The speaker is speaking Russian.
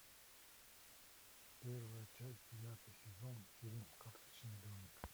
первая часть девятый сезон фильм карточный домик